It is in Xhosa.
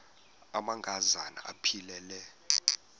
amanka zana aphilele